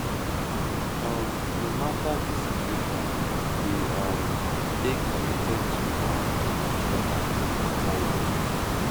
um no matter di situation we um dey committed to um each other no matter what